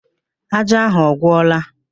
Ájá ahụ ọ gwụla?